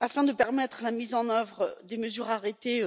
afin de permettre la mise en œuvre des mesures arrêtées